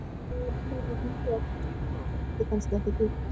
Þar var hlýju að finna þótt hún risti kannski ekki djúpt.